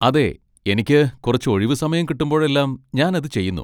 അതെ, എനിക്ക് കുറച്ച് ഒഴിവു സമയം കിട്ടുമ്പോഴെല്ലാം ഞാൻ അത് ചെയ്യുന്നു.